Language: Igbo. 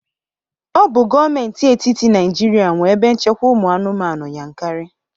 Ọ bụ Gọọmenti etiti Naịjirịa nwe ebe nchekwa ụmụ anụmanụ Yankari